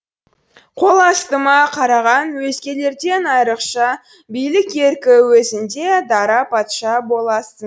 қол астыма қараған өзгелерден айрықша билік еркі өзіңде дара патша боласың